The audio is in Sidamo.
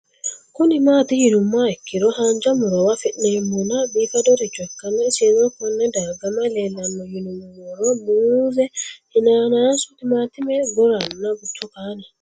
Kuni mati yinumoha ikiro hanja murowa afine'mona bifadoricho ikana isino Kone darga mayi leelanno yinumaro muuze hanannisu timantime gooranna buurtukaane